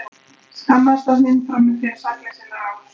Skammaðist hann sín frammi fyrir sakleysi Lárusar?